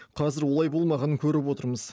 қазір олай болмағанын көріп отырмыз